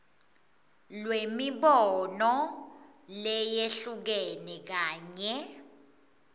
lwemibono leyehlukene kanye